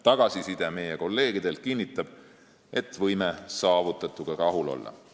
Tagasiside meie kolleegidelt kinnitab, et võime saavutatuga rahul olla.